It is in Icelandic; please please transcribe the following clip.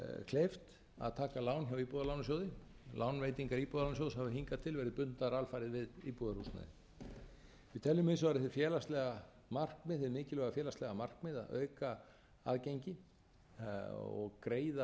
kleift að taka lán hjá íbúðalánasjóði lánveitingar íbúðalánasjóðs hafa hingað til verið bundnar alfarið við íbúðarhúsnæði við teljum hins vegar hið félagslega markmið hið mikilvæga félagslega markmið að auka aðgengi og greiða